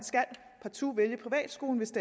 partout skal vælge en privatskole hvis